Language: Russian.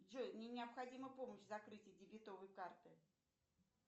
джой мне необходима помощь в закрытии дебетовой карты